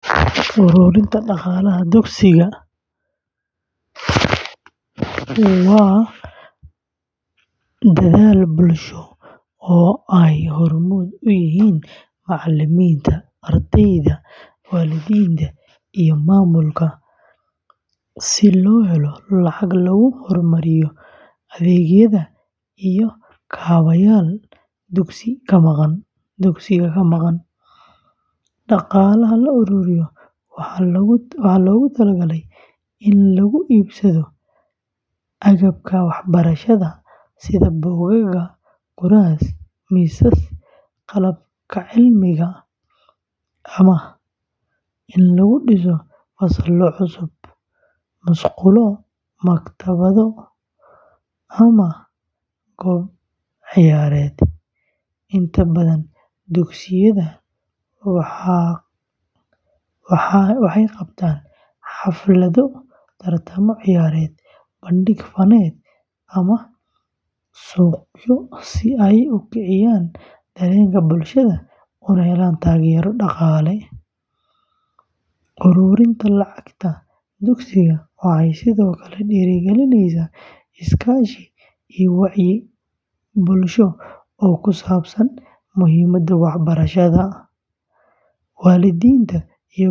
Uruurinta dhaqaalaha dugsiga, waa dadaal bulsho oo ay hormuud u yihiin macalimiinta, ardayda, waalidiinta, iyo maamulka si loo helo lacag lagu horumariyo adeegyada iyo kaabayaal dugsiga ka maqan. Dhaqaalaha la ururiyo waxaa loogu tala galay in lagu iibsado agabka waxbarashada sida buugaag, kuraas, miisas, qalabka cilmiga, ama in lagu dhiso fasallo cusub, musqulo, maktabado, ama goob ciyaareed. Inta badan dugsiyada waxay qabtaan xaflado, tartamo ciyaareed, bandhig faneed, ama suuqyo si ay u kiciyan dareenka bulshada una helaan taageero dhaqaale. Uruurinta lacagta dugsiga waxay sidoo kale dhiirrigelisaa iskaashi iyo wacyi bulsho oo ku saabsan muhiimadda waxbarashada. Waalidiinta iyo ganacsatada.